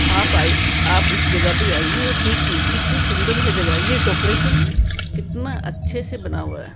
आप आए आप इस जगह पे आईए और देखिए कितनी सुंदर है जगह ये डेकोरेशन कितना अच्छे से बना हुआ है।